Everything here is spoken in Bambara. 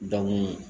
Danni